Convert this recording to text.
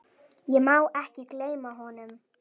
Ég má ekki gleyma honum.